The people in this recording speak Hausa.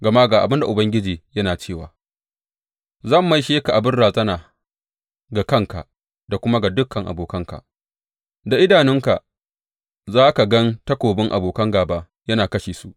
Gama ga abin da Ubangiji yana cewa, Zan maishe ka abin razana ga kanka da kuma ga dukan abokanka; da idanunka za ka gan takobin abokan gāba yana kashe su.